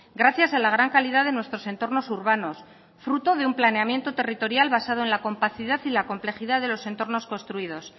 gracias a la gran calidad de nuestros entornos urbanos fruto de un planeamiento territorial basado en la compacidad y la complejidad de los entornos construidos